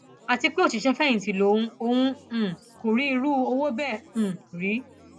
àti pé òṣìṣẹfẹyìntì lòun òun um kò rí irú owó bẹẹ um rí